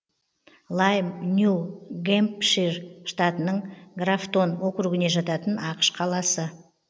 лайм нью гэмпшир штатының графтон округіне жататын ақш қаласы